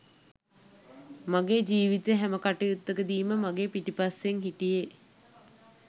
මගේ ජීවිතේ සෑම කටයුත්තකදීම මගේ පිටුපස්සෙන් හිටියේ